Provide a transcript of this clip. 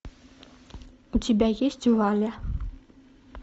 у тебя есть валя